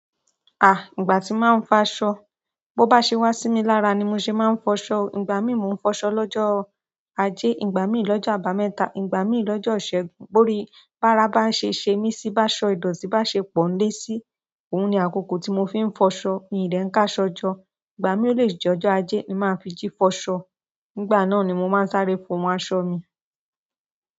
Àh! Ìgbà tí màá ń fọ aṣọ. Bo bá ṣe wá sí mi lára ni mo ṣe máa ń fọṣọ. Ìgbà míì mo ń fọṣọ lọ́jọ́ ajé, ìgbà míì lọ́jọ́ àbámẹ́ta, ìgbà míì lọ́jọ́ ìṣẹ́gun. Bori bára bá ṣe ṣe mí sí bá ṣọ, ìdọ̀tí bá ṣe pọ́n lé sí i, òun ni àkókò tí mo fi ń fọṣọ. Mi dẹ ń káṣọjọ́. Ìgbà mi ole je ojo aje ni ma fi ji foso. Nígbà náà ni mo máa ń sáré fo mọ́ aṣọ mi.